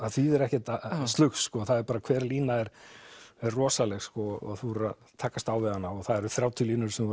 þýðir ekkert slugs bara hver lína er rosaleg þú verður að takast á við hana og það eru þrjátíu línur sem þú